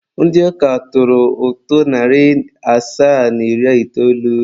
Ndị ụka tụrụ ụtụ narị asaa na iri itoolu.